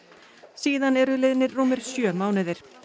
síðan eru liðnir rúmir sjö mánuðir